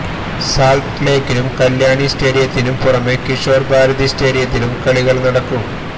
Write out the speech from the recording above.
സാൾട്ട്ലേക്കിനും കല്യാണി സ്റ്റേഡിയത്തിനും പുറമേ കിഷോർ ഭാരതി സ്റ്റേഡിയത്തിലും കളികൾ നടക്കും